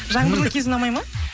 жаңбырлы кез ұнамайды ма